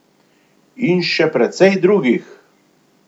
In še precej drugih.